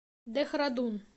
дехрадун